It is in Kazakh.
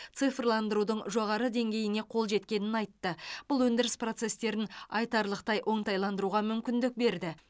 цифрландырудың жоғары деңгейіне қол жеткенін айтты бұл өндіріс процестерін айтарлықтай оңтайландыруға мүмкіндік берді